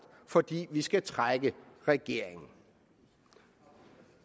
fordi vi skal trække regeringen